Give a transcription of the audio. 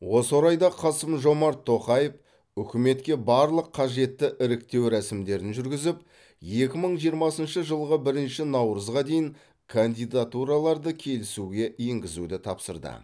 осы орайда қасым жомарт тоқаев үкіметке барлық қажетті іріктеу рәсімдерін жүргізіп екі мың жиырмасыншы жылғы бірінші наурызға дейін кандидатураларды келісуге енгізуді тапсырды